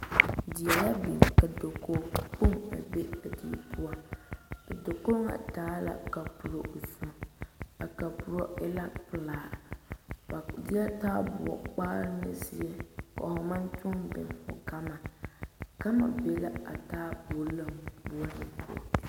Die la biŋ ka dakogi kpoŋ be a die poɔ a dakogi ŋa taa la kaporo zɔmo a kaporo e la pelaa ba de taayɛdoɔ kpare ne zie ko'o maŋ toɔ biŋ gama gama be la a taayɛboɔ lanboɔre.